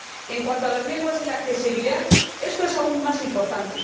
En cuanto a las lenguas y la accesibilidad, esto es aún más importante.